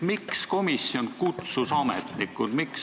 Miks komisjon kutsus ametnikud?